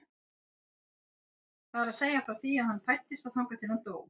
Það er að segja frá því að hann fæddist og þangað til að hann dó.